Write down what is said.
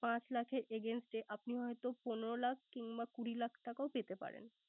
পাঁচ লাখের against এ আপনি হয়ত পনেরো লাখ কিংবা কুড়ি লাখ টাকাও পেতে পারেন।